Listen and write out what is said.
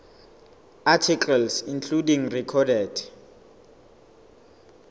articles including recorded